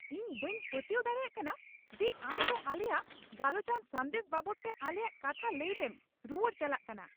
ᱤᱧ ᱵᱟᱹᱧ ᱯᱟᱹᱛᱭᱟᱹᱣ ᱫᱟᱲᱮᱭᱟᱜ ᱠᱟᱱᱟ ᱡᱮ, ᱟᱢ ᱫᱚ ᱟᱞᱮᱭᱟᱜ ᱜᱟᱞᱚᱪᱟᱱ ᱥᱟᱸᱫᱮᱥ ᱵᱟᱵᱚᱫᱛᱮ ᱟᱞᱮᱭᱟᱜ ᱠᱟᱛᱷᱟ ᱞᱟᱹᱭ ᱨᱮᱢ ᱨᱩᱣᱟᱹᱲ ᱪᱟᱞᱟᱜ ᱠᱟᱱᱟ ᱾